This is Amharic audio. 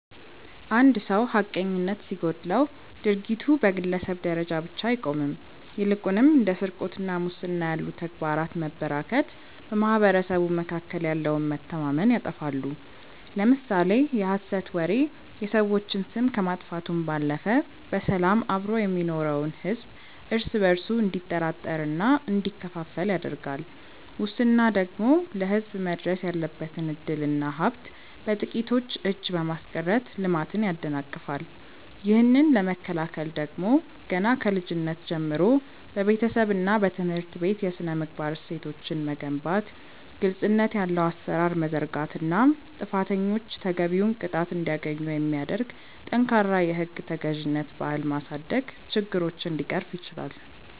አንድ ሰው ሐቀኝነት ሲጎድለው ድርጊቱ በግለሰብ ደረጃ ብቻ አይቆምም ይልቁንም እንደ ስርቆትና ሙስና ያሉ ተግባራት መበራከት በማኅበረሰቡ መካከል ያለውን መተማመን ያጠፋሉ። ለምሳሌ የሐሰት ወሬ የሰዎችን ስም ከማጥፋቱም ባለፈ በሰላም አብሮ የሚኖረውን ሕዝብ እርስ በእርሱ እንዲጠራጠርና እንዲከፋፈል ያደርጋል ሙስና ደግሞ ለሕዝብ መድረስ ያለበትን ዕድልና ሀብት በጥቂቶች እጅ በማስቀረት ልማትን ያደናቅፋል። ይህንን ለመከላከል ደግሞ ገና ከልጅነት ጀምሮ በቤተሰብና በትምህርት ቤት የሥነ-ምግባር እሴቶችን መገንባት ግልጽነት ያለው አሠራር መዘርጋትና ጥፋተኞች ተገቢውን ቅጣት እንዲያገኙ የሚያደርግ ጠንካራ የሕግ ተገዥነት ባህል ማሳደግ ችግሮችን ሊቀርፍ ይችላል።